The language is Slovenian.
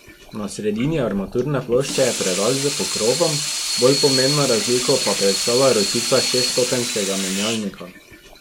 Na sredini armaturne plošče je predal s pokrovom, bolj pomembno razliko pa predstavlja ročica šeststopenjskega menjalnika.